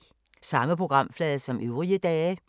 Samme programflade som øvrige dage